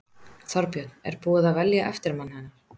Þorbjörn: Er búið að velja eftirmann hennar?